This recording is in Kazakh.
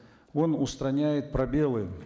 он устраняет пробелы